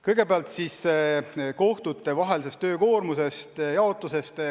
Kõigepealt siis töökoormuse jaotusest kohtute vahel.